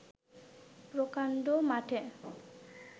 প্রকাণ্ড মাঠে